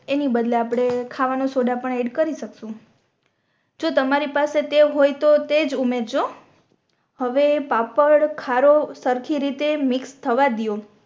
એની બદલે આપણે ખાવાનો સોદા પણ એડ કરી શકશું જો તમારી પાસે તે હોય તોહ તેજ ઉમેરજો આવે પાપડ ખારો સરખી રીતે મિક્સ થવા ડિયો